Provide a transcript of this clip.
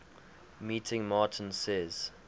meeting martin says